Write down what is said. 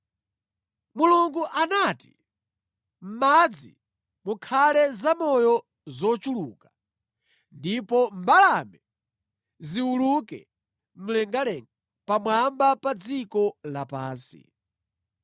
Mulungu anati, “Mʼmadzi mukhale zamoyo zochuluka ndipo mbalame ziwuluke mlengalenga pamwamba pa dziko lapansi.”